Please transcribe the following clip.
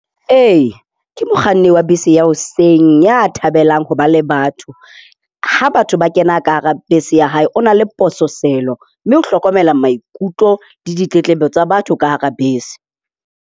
Ee, ke mokganni wa bese ya hoseng, ya thabelang ho ba le batho. Ha batho ba kena ka hara bese ya hae o na le pososelo, mme o hlokomela maikutlo le ditletlebo tsa batho ka hara bese.